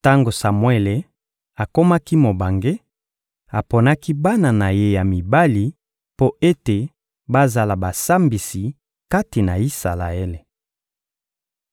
Tango Samuele akomaki mobange, aponaki bana na ye ya mibali mpo ete bazala basambisi kati na Isalaele.